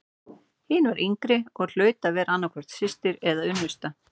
Hin var yngri og hlaut að vera annað hvort systir eða unnusta.